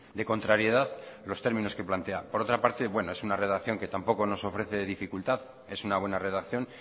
de contrariedad los términos que plantea por otra parte es una redacción que tampoco nos ofrece dificultad es una buena redacción